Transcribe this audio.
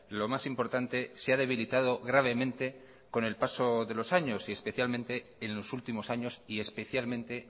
lo más importante se ha debilitado gravemente con el paso de los años y especialmente en los últimos años y especialmente